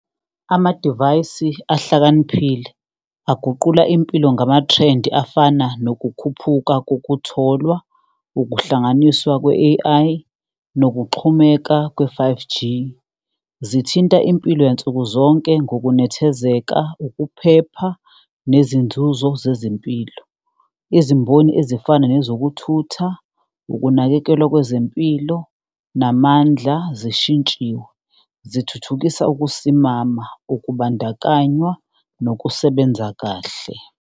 Amadivayisi ahlakaniphile aguqula impilo ngamathrendi afana nokukhuphuka kokutholwa, ukuhlanganiswa kwe-A_I, nokuxhumeka kwe-five G. Zithinta impilo yansuku zonke ngokunethezeka, ukuphepha, nezinzuzo zezempilo, izimboni ezifana nezokuthutha, ukunakekelwa kwezempilo namandla zishintshiwe. Zithuthukisa ukusimama, ukubandakanywa nokusebenza kahle.